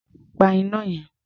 Pa iná yẹn.